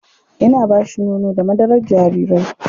Ina ba shi nono da madarar jarirai.